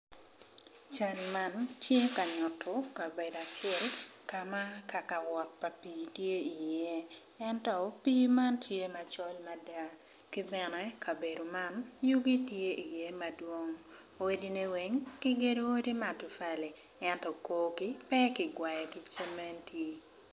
Cal man tye ka nyuto kabedo acel kama kakawot pa pi tye i ye ento pi man tye macol mada kibene kabedo man yugi tye i ye madwong odi ne weng kigedo ki matapali ento korgi pe ki gwayo ki cementi.